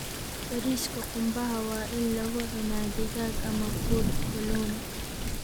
Bariiska qumbaha waa in lagu cunaa digaag ama fuud kalluun.